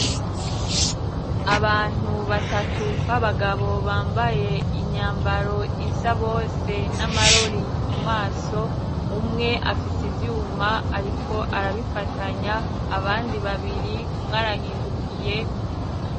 Abantu batatu b'abagabo bambaye inyambaro isa bose n'amarori mu maso, umwe afise ivyuma ariko arabifatanya abandi babiri umwarahindukiye.